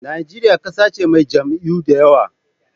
Najeriya ƙasa ce mai jam'iyyu da yawa.